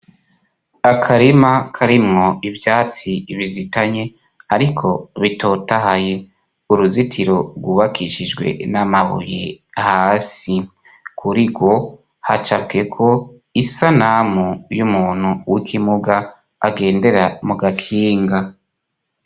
Akarima karimwo ivyatsi bizitanye, ariko bitotahaye. Uruzitiro rwubakishijwe n'amabuye hasi. Kuri rwo hacapweko isanamu y'umuntu w'ikimuga agendera mu gakinga.